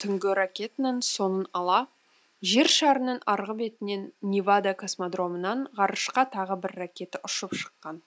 түнгі ракетаның соңын ала жер шарының арғы бетінен невада космодромынан ғарышқа тағы бір ракета ұшып шыққан